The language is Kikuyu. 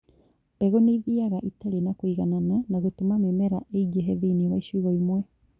Mbegũ nĩthiaga itarĩ na kũiganana na gũtũma mĩmera ĩingĩhe thĩiniĩ wa icigo imwe